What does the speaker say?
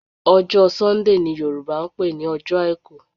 Ọjọ́ Sunday ni Yorùbá ń pè ní ọjọ́ àìkú